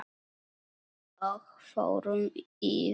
Og fórum í vörn.